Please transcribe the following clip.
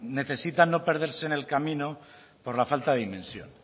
necesitan no perderse en el camino por la falta de dimensión